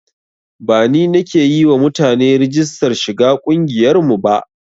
Ba ni nake yi wa mutane rigistar shiga ƙungiyar mu ba